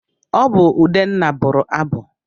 Ọ bụ Udenna bụrụ abụ.